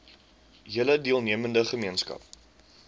hele deelnemende gemeenskap